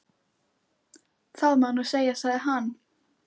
Það má nú segja, sagði hann.